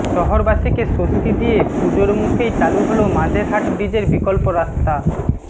শহরবাসীকে স্বস্তি দিয়ে পুজোর মুখেই চালু হল মাঝেরহাট ব্রিজের বিকল্প রাস্তা